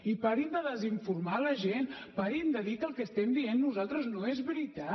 i parin de desinformar la gent parin de dir que el que estem dient nosaltres no és veritat